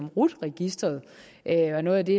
rut registeret er noget af det